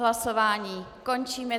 Hlasování končím.